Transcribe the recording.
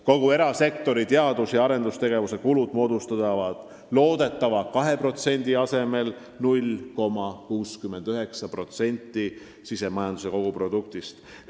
Kogu erasektori teadus- ja arendustegevuse kulud moodustavad loodetava 2% asemel 0,69% sisemajanduse kogutoodangust.